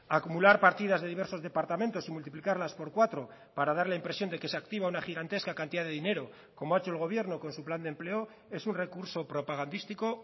acumular partidas de diversos departamentos y multiplicarlas por cuatro para dar la impresión de que se activa una gigantesca cantidad de dinero como ha hecho el gobierno con su plan de empleo es un recurso propagandístico